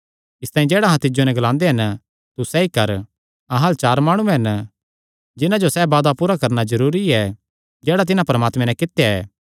इसतांई जेह्ड़ा अहां तिज्जो नैं ग्लांदे हन तू सैई कर अहां अल्ल चार माणु हन जिन्हां जो सैह़ वादा पूरा करणा जरूरी ऐ जेह्ड़ा तिन्हां परमात्मे नैं कित्या ऐ